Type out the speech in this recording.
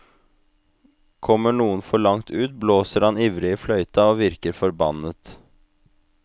Kommer noen for langt ut blåser han ivrig i fløyta og vinker forbannet.